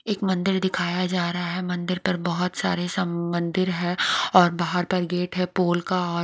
एक मंदिर दिखाया जा रहा है। मंदिर पर बहोत सारे सब मंदिर है और बाहर पर गेट है पोल का और--